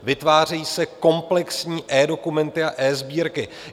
Vytvářejí se komplexní eDokumenty a eSbírky.